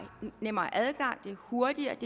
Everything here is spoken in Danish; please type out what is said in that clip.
nemmere adgang det er hurtigere